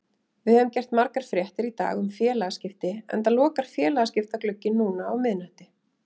Við höfum gert margar fréttir í dag um félagaskipti enda lokar félagaskiptaglugginn núna á miðnætti.